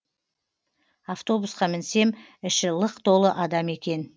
автобусқа мінсем іші лық толы адам екен